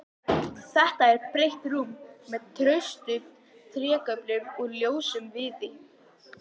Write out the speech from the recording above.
Þetta er breitt rúm með traustum trégöflum úr ljósum viði.